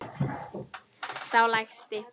Sá lægsti.